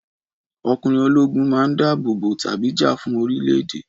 Ọkùnrin ológun man dábòbò tàbí jà fún orílẹ̀-èdè